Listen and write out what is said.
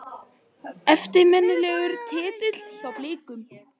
Eftirminnilegur titill hjá Blikunum.